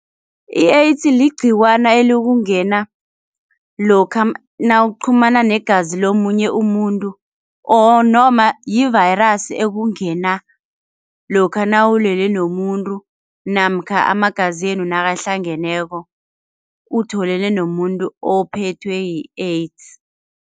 I-AIDS ligcikwana elikungena lokha nawuchumana negazi lomunye umuntu, or noma yi-virus ekungena lokha nawulele nomuntu namkha amagazenu nakahlangeneko utholene nomuntu ophethwe yi-AIDS.